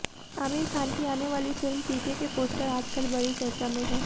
आमिर खान की आने वाली फिल्म पीके के पोस्टर आज कल बड़ी चर्चा में हैं